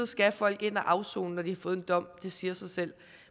skal folk ind og afsone når de har fået en dom det siger sig selv